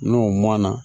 N'o mɔna